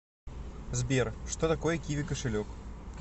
сбер что такое киви кошелек